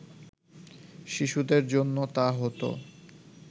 শিশুদের জন্য তা হতো